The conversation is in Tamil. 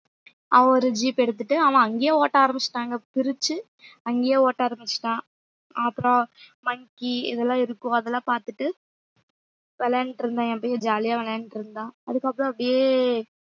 அவன் ஒரு jeep எடுத்துட்டு அவன் அங்கேயே ஓட்ட ஆரம்பிச்சுட்டாங்க பிரிச்சு அங்கேயே ஓட்ட ஆரம்பிச்சுட்டான் அப்புறம் monkey இதெல்லாம் இருக்கும் அதெல்லாம் பார்த்துட்டு விளையாண்டுட்டு இருந்தேன் என் பையன் jolly யா விளையாண்டுட்டு இருந்தான் அதுக்கப்புறம் அப்படியே